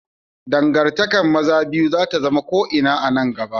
Dangantakar maza biyu za ta zama ko ina a nan gaba.